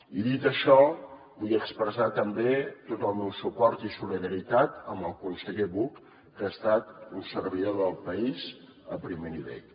i dit això vull expressar també tot el meu suport i solidaritat al conseller buch que ha estat un servidor del país a primer nivell